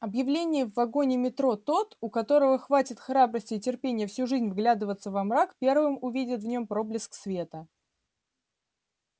объявление в вагоне метро тот у кого хватит храбрости и терпения всю жизнь вглядываться во мрак первым увидит в нем проблеск света